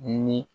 Ni